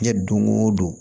Diɲɛ don go don